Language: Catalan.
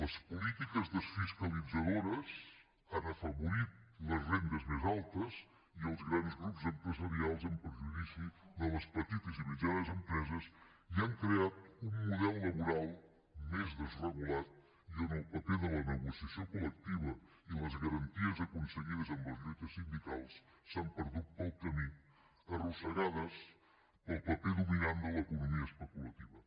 les polítiques desfiscalitzadores han afavorit les rendes més altes i els grans grups empresarials en prejudici de les petites i mitjanes empreses i han creat un model laboral més desregulat i on el paper de la negociació col·lectiva i les garanties aconseguides amb les lluites sindicals s’han perdut pel camí arrossegades pel paper dominant de l’economia especulativa